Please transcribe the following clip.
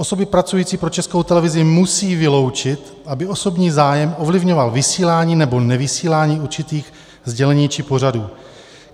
Osoby pracující pro Českou televizi musí vyloučit, aby osobní zájem ovlivňoval vysílání nebo nevysílání určitých sdělení či pořadů.